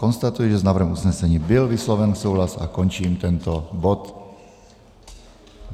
Konstatuji, že s návrhem usnesení byl vysloven souhlas, a končím tento bod.